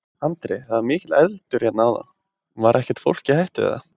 Andri: Það var mikill eldur hérna áðan, var ekkert fólk í hættu, eða?